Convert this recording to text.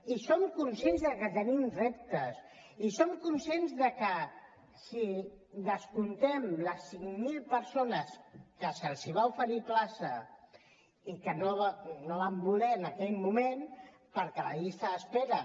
i som conscients que tenim reptes i som conscients que si descomptem les cinc mil persones a qui se’ls va oferir plaça i que no la van voler en aquell moment perquè la llista d’espera